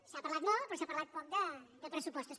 s’ha parlat molt però s’ha parlat poc de pressupostos